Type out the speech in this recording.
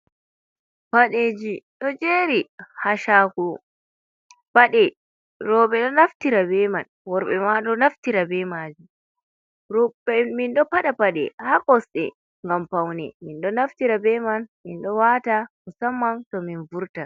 Padeji do jeri ha shago pade roɓe do naftira be man worɓe ma do naftira be majum roɓe mindo pada pade ha kosde ngam paune min do naftira be man mindo wata musamman to min vurta.